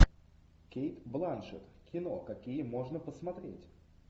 кейт бланшетт кино какие можно посмотреть